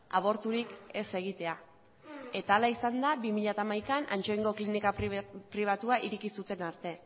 aborturik ez egitea eta hala izan da bi mila hamaikan ansoaingo klinika pribatua ireki zuten arte